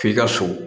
F'i ka so